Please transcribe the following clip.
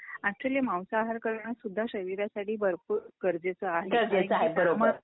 Actually मांसाहार कारण सुद्धा शरीरासाठी भरपूर गरजेचं आहे.